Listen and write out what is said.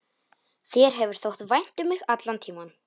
Þér hefur þótt vænt um mig allan tímann.